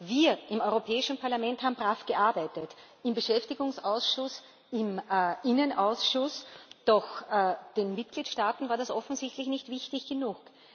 Wir im Europäischen Parlament haben brav gearbeitet im Beschäftigungsausschuss, im Innenausschuss, doch den Mitgliedstaaten war das offensichtlich nicht wichtig genug.